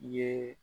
I ye